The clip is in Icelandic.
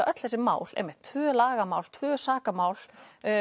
öll þessi mál tvö lagamál tvö sakamál